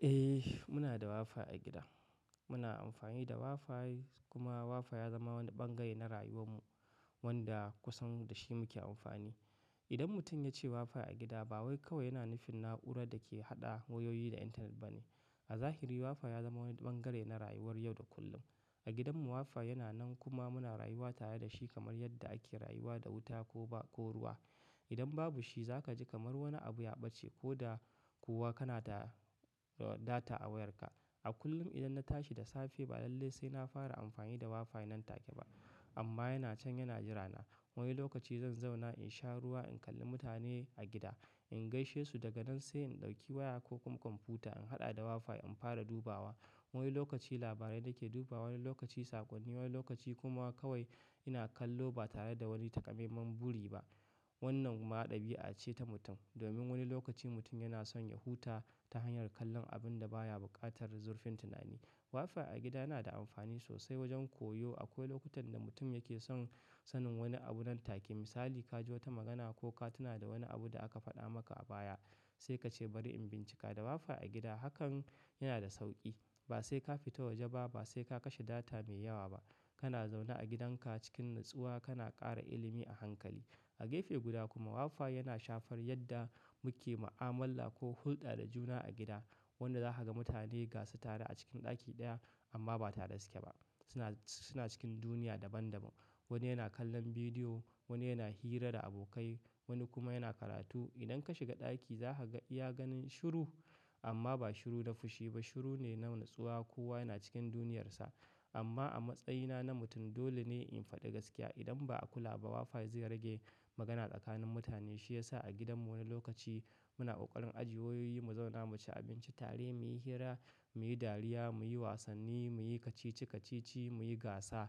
Eh muna da WiFi a gida. Muna amfani da WiFi kuma WiFi ya zama wani ɓangare na rayuwar mu wanda kusan da shi muke amfani. Idan mutum ya ce WiFi a gida ba wai kawai yana nufin na'urar da ke haɗa wayoyi da intanet ba ne. A zahiri WiFi ya zama wani bangare na rayuwar yau da kullum. A gidanmu WiFi yana nan kuma muna rayuwa tare da shi kamar yadda ake rayuwa da wuta ko ba-- ko ruwa. Idan babu shi za ka ji kamar wani abu ya ɓace ko da kuwa kana da data a wayarka. A kullum idan na tashi da safe ba lallai sai na fara amfani da WiFi nan take ba amma yana can yana jira na. Wani lokaci zan zauna in sha ruwa, in kalli mutane a gida, in gaishe su daga nan sai in ɗauki waya ko komfuta in haɗa da WiFi in fara dubawa. Wani lokaci labarai nake dubawa, wani lokaci sakonni, wani lokaci kuma kawai ina kallo ba tare da wani taƙamaiman buri ba. Wannan ma ɗabi'a ce ta mutum. Domin wani lokaci mutum yana son ya huta ta hanyar kallon abun da baya buƙatar zurfin tunani. WiFi a gida yana da amfani sosai wajen koyo. Akwai lokutan da mutum yake son sanin wani abu nan take. Misali ka ji wata magana ko ka tuna da wani abu da aka faɗa maka a baya sai ka ce bari in bincika. Da WiFi a gida hakan yana da sauƙi. Ba sai ka fita waje ba, ba sai ka kashe data mai yawa ba. Kana zauna a gidanka cikin natsuwa kana ƙara ilimi a hankali. A gafe guda kuma WiFi yana shafar yadda muke mu'amala ko hulɗa da juna a gida. Wanda za ka ga mutane gasa tare a cikin ɗaki ɗaya amma ba tare da suke ba. Suna, suna cikin duniya daban daban. Wani yana kallon bidiyo, wani yana hira da abokai, wani kuma yana karatu. Idan ka shiga ɗaki za ka iya ganin shiru amma ba shiru na fushi ba shiru ne na natsuwa. Kowa yana cikin duniyarsa. Amma a matsayina na mutum dole ne in faɗi gaskiya. Idan ba a kula ba WiFi zai rage magana tsakanin mutane. Shi ya sa a gidanmu wani lokaci muna ƙoƙarin ajiye wayoyi, mu zauna mu ci abinci tare, muyi hira, muyi dariya, muyi wasanni, muyi kacici kacici, muyi gasa.